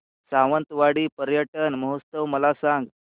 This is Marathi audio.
सावंतवाडी पर्यटन महोत्सव मला सांग